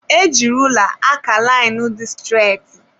Eji rula aka lainu dị streti.